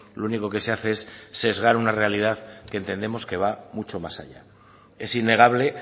lo único que se hace es sesgar una realidad que entendemos que va mucho más allá es innegable